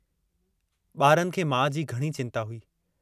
बारनि खे माउ जी घणी चिन्ता हुई।